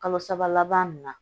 Kalo saba laban nunnu na